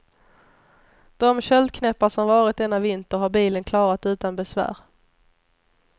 De köldknäppar som varit denna vinter, har bilen klarat utan besvär.